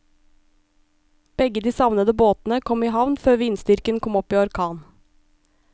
Begge de savnede båtene kom i havn før vindstyrken kom opp i orkan.